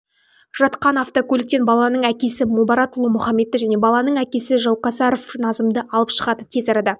жатқан автокөліктен баланың әкесі мубаратұлы мухамедті және баланың әкесі жаукасаров назымды алып шығады тез арада